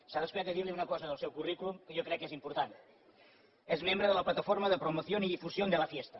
s’ha descuidat de dir una cosa del seu currículum que jo crec que és important és membre de la plataforma de promoción y difusión de la fiesta